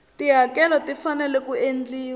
tihakelo ti fanele ku endliwa